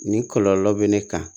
Nin kɔlɔlɔ bɛ ne kan